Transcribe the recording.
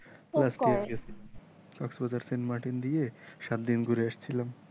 দিয়ে সাত দিন ঘুরে আসছিলাম।